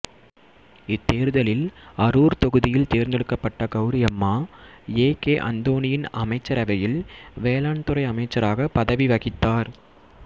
இத் தேர்தலில் அரூர் தொகுதியில் தேர்ந்தெடுக்கப்பட்ட கௌரி அம்மா ஏ கே அந்தோணியின் அமைச்சரவையில் வேளாண்துறை அமைச்சராகப் பதவி வகித்தார்